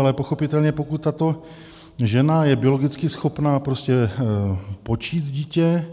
Ale pochopitelně, pokud tato žena je biologicky schopna počít dítě,